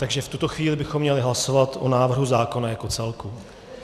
Takže v tuto chvíli bychom měli hlasovat o návrhu zákona jako celku.